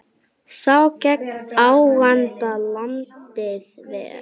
Sá gegn ágangi landið ver.